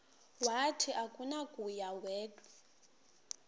wathi akunakuya wedw